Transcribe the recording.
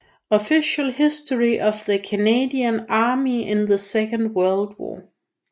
Official History of the Canadian Army in the Second World War